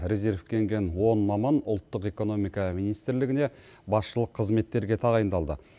резервке енген он маман ұлттық экономика министрлігіне басшылық қызметтерге тағайындалды